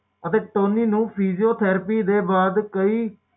ਇਹ ਇੱਕ ਪ੍ਰੋਫੈਸਰ ਨੇ ਕਿਹਾ ਹੈ ਕਿ ਵੀ ਇੱਕ ਬੰਦਾ ਆਪਣੇ ਜੀਵਨ ਦੇ ਵਿੱਚ